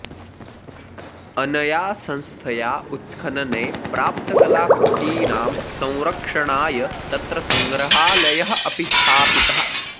अनया संस्थया उत्खनने प्राप्तकलाकृतीनां संरक्षणाय तत्र सङ्ग्रहालयः अपि स्थापितः